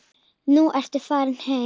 Nú ertu farinn heim.